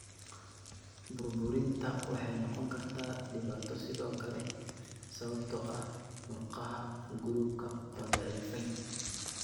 Burburinta waxay noqon kartaa dhibaato sidoo kale sababtoo ah murqaha guluubka oo daciifay.